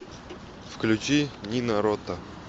включи нино рота